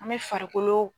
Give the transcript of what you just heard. An bɛ farikolo